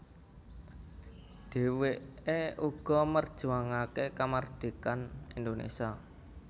Dheweke uga merjuangake kamardhikan Indonésia